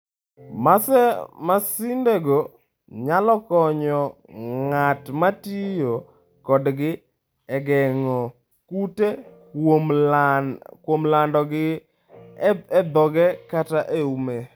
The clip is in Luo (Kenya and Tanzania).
Masindego nyalo konyo ng'at ma tiyo kodgi e geng'o kute kuom landogi e dhoge kata e ume.